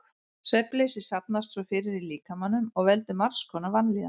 Svefnleysi safnast svo fyrir í líkamanum og veldur margs konar vanlíðan.